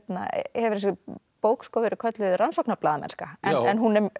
hefur þessi bók verið kölluð rannsóknarblaðamennska en